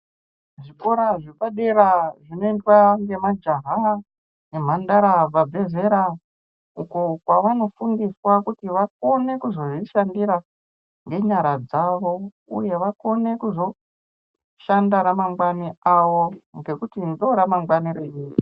Zvikora zvepadera zvinoenda nemajaha nemhandara vabva zera uko kwavanofundiswa kuti vakone kuzvishandira ngenyara dzavo uye vakone kuzo shanda ramangwani avo.